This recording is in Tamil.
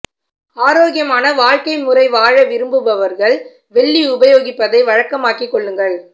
ஆரோக்கியமான வாழ்க்கை முறை வாழ விரும்புபவர்கள் வெள்ளி உபயோகிப்பதை வழக்கமாக்கி கொள்ளுங்கள்